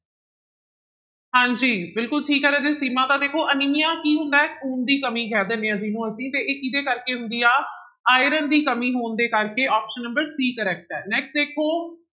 ਹਾਂਜੀ ਬਿਲਕੁਲ ਠੀਕ ਹੈ ਰਾਜੇ ਸੀਮਾ, ਤਾਂ ਦੇਖੋ ਅਨੀਮੀਆ ਕੀ ਹੁੰਦਾ ਹੈ ਖੂਨ ਦੀ ਕਮੀ ਕਹਿ ਦਿੰਦੇ ਹਾਂ ਜਿਹਨੂੰ ਅਸੀਂ ਤੇ ਇਹ ਕਿਹਦੇ ਕਰਕੇ ਹੁੰਦੀ ਆ, ਆਇਰਨ ਦੀ ਕਮੀ ਹੋਣ ਦੇ ਕਰਕੇ option number c correct ਹੈ next ਦੇਖੋ